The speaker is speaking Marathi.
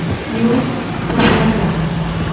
यूट्यूब वर जा